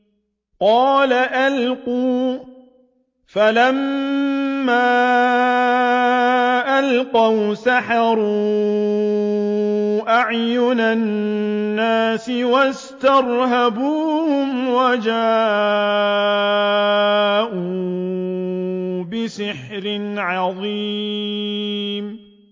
قَالَ أَلْقُوا ۖ فَلَمَّا أَلْقَوْا سَحَرُوا أَعْيُنَ النَّاسِ وَاسْتَرْهَبُوهُمْ وَجَاءُوا بِسِحْرٍ عَظِيمٍ